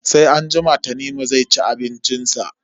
Sai anjima Tanimu zai ci abincin sa.